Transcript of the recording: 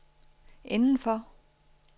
indenfor